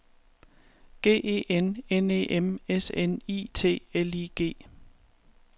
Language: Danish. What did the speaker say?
G E N N E M S N I T L I G